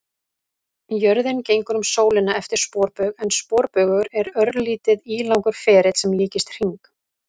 Jörðin gengur um sólina eftir sporbaug en sporbaugur er örlítið ílangur ferill sem líkist hring.